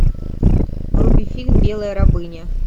вруби фильм белая рабыня